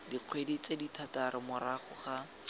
dikgwedi tse thataro morago ga